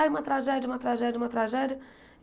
Aí uma tragédia, uma tragédia, uma tragédia.